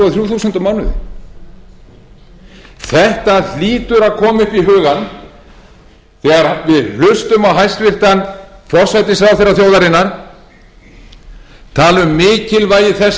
á mánuði þetta hlýtur að koma upp í hugann þegar við hlustum á hæstvirtan forsætisráðherra þjóðarinnar tala um mikilvægi þess